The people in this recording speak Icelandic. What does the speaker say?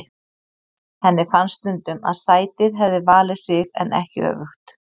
Henni fannst stundum að sætið hefði valið sig en ekki öfugt.